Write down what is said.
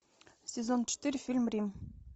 сезон четыре фильм рим